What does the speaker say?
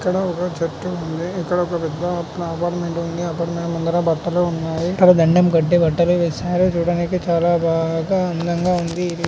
ఇక్కడ ఒక చెట్టు ఉంది. ఇక్కడ ఒక పెద్ద ఆక్రోటే ఆబ అపార్ట్మెంట్ ఉంది. అపార్ట్మెంట్ ముందర బట్టలు ఉన్నాయి. ఇక్కడ దండం కట్టి బట్టలు వేశారు. చూడటానికి చాలా బాగా అందంగా ఉంది ఇది --